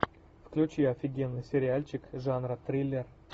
включи офигенный сериальчик жанра триллер